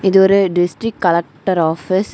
இது ஒரு district collector office .